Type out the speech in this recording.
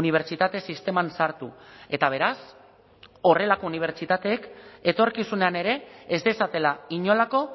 unibertsitate sisteman sartu eta beraz horrelako unibertsitateek etorkizunean ere ez dezatela inolako